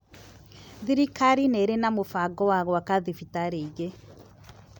Thirikari nĩrĩ na mũbango wa gwaka thibitari ĩngĩ